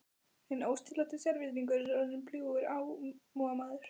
Inn óstýriláti sérvitringur er orðinn bljúgur almúgamaður.